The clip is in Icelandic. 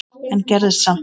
en gerðist samt.